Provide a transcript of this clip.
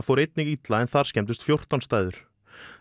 fór einnig illa en þar skemmdust fjórtán stæður